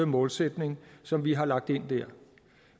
målsætning som vi har lagt ind der